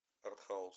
артхаус